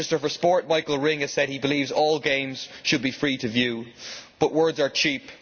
The Minister for Sport, Michael Ring, has said that he believes all games should be free to view, but words are cheap.